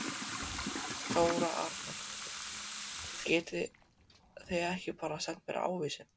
Þóra Arnórsdóttir: Getið þið ekki bara sent mér ávísun?